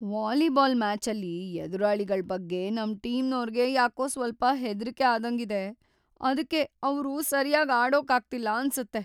Volleyball ಮ್ಯಾಚಲ್ಲಿ ಎದುರಾಳಿಗಳ್ ಬಗ್ಗೆ ನಮ್ ಟೀಮ್ನೋರ್ಗೆ ಯಾಕೋ ಸ್ವಲ್ಪ ಹೆದ್ರಿಕೆ ಆದಂಗಿದೆ, ಅದ್ಕೆ ಅವ್ರು ಸರ್ಯಾಗ್‌ ಆಡೋಕಾಗ್ತಿಲ್ಲ ಅನ್ಸತ್ತೆ.